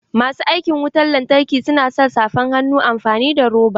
Masu aikin wutan lantarki su na sa safan hannu amfani da roba